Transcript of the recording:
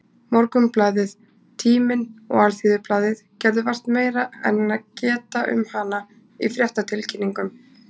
Morgunblaðið, Tíminn og Alþýðublaðið gerðu vart meira en geta um hana í fréttatilkynningum.